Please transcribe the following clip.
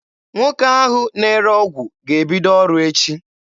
Nwoke ahụ na-ere ọgwụ ga-ebido ọrụ echi.